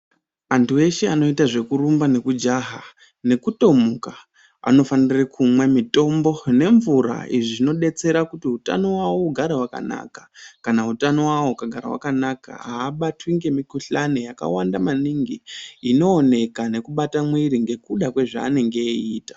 Andu eshe anoita zvekurumba nekujaha nekutomuka, anofanire kumwe mitombo nemvura izvi zvinodetsera kuti utano wawo ugare wakanaka kana utano wawo ukagara wakanaka abatwi nemukuhlani yakawanda maningi inoneka nekubata mwiri nekuda kwezvaanenge eiita.